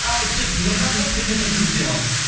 ал кеттік нұрғазы сен де бір дірілдеп ал